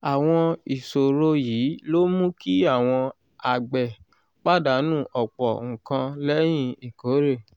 àwọn ìṣòro yìí ló mú kí àwọn àgbẹ̀ pàdánù ọ̀pọ̀ nǹkan lẹ́yìn ìkórè.